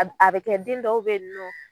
A b a bɛ kɛ den dɔw be yen nɔ